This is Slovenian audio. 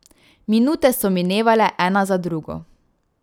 Minute so minevale ena za drugo.